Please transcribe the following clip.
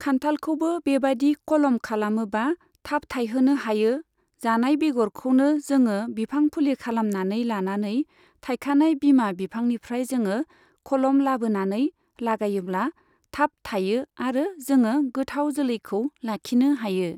खान्थाल खौबो बेबादि खलम खालामोबा थाब थाइहोनो हायो जानाय बेगरखौनो जोङो बिफां फुलि खालामनानै लानानै थाइखानाय बिमा बिफांनिफ्राय जोङो खलम लाबोनानै लागायोबला थाब थाययो आरो जोङो गोथाव जोलैखौ लाखिनो हायो।